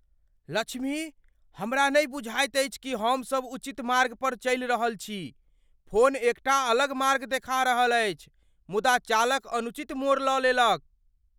लक्ष्मी, हमरा नहि बुझाइत अछि कि हम सब उचित मार्ग पर चलि रहल छी। फोन एकटा अलग मार्ग देखा रहल अछि मुदा चालक अनुचित मोड़ लऽ लेलक।